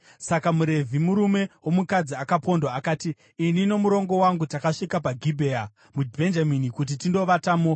Saka muRevhi, murume womukadzi akapondwa akati, “Ini nomurongo wangu takasvika paGibhea muBhenjamini kuti tindovatamo.